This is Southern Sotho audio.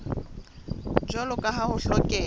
jwalo ka ha ho hlokeha